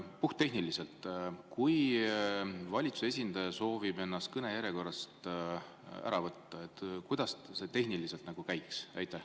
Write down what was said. Puhttehniliselt, kui valitsuse esindaja sooviks ennast kõnejärjekorrast ära võtta, kuidas see käiks?